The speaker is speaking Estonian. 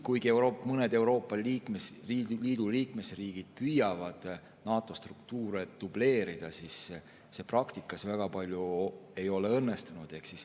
Kuigi mõned Euroopa Liidu liikmesriigid püüavad NATO struktuure dubleerida, siis see praktikas väga ei ole õnnestunud.